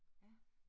Ja